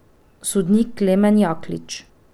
Sodnik Klemen Jaklič.